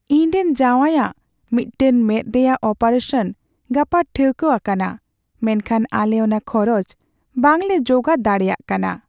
ᱤᱧᱨᱮᱱ ᱡᱟᱶᱟᱭᱟᱜ ᱢᱤᱫᱴᱟᱝ ᱢᱮᱫ ᱨᱮᱭᱟᱜ ᱚᱯᱟᱨᱮᱥᱚᱱ ᱜᱟᱯᱟ ᱴᱷᱟᱹᱣᱠᱟᱹᱣᱟᱠᱟᱱᱟ ᱢᱮᱱᱠᱷᱟᱱ ᱟᱞᱮ ᱚᱱᱟ ᱠᱷᱚᱨᱚᱪ ᱵᱟᱝᱞᱮ ᱡᱚᱜᱟᱲ ᱫᱟᱲᱮᱭᱟᱜ ᱠᱟᱱᱟ ᱾